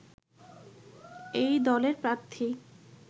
এই দলের প্রার্থী